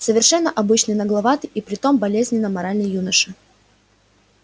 совершенно обычный нагловатый и при том болезненно моральный юноша